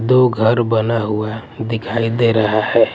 दो घर बना हुआ दिखाई दे रहा है ।